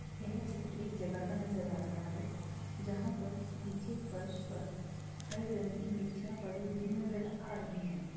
यह चित्र एक जगह का नजर आ रहा है जहां पर नीचे फर्श पर हरे रंग की मिर्चीयां पड़ी हुई नजर आ रही है।